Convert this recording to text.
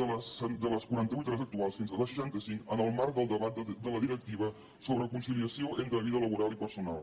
de les quaranta vuit hores actuals fins a les seixanta cinc en el marc del debat de la directiva sobre conciliació entre vida laboral i personal